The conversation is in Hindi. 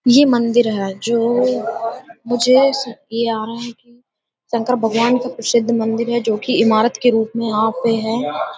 ये मंदिर है जो मुझे शंकर भगवान का प्रसिद्ध मंदिर है जोकि इमारत के रूप में यहां पे हैं।